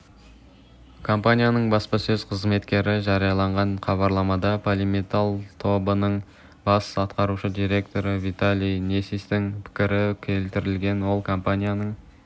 компанияның баспасөз қызметі жариялаған хабарламада полиметалл тобының бас атқарушы директоры виталий несистің пікірі келтірілген ол компанияның